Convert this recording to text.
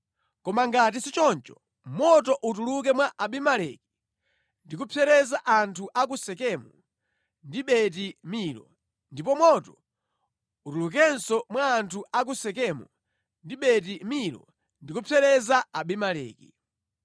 Koma ngati sichoncho moto utuluke mwa Abimeleki ndi kupsereza anthu a ku Sekemu ndi Beti-Milo, ndipo moto utulukenso mwa anthu a ku Sekemu ndi Beti-Milo, ndi kupsereza Abimeleki!”